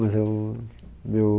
Meu... Mas eu